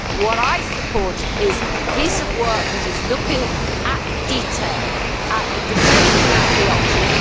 What I support is a piece of work that is looking at detail, at the debate and at the options.